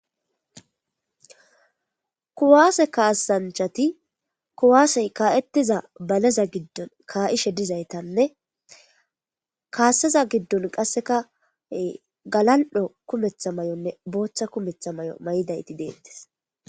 Ku'ase kasanichati ku'ase ka'iza medazagidon ka'ishe deyisane kasaza giddon qaseka gala'o kumetha mayo mayidaynee botha kumetha mayo mayiday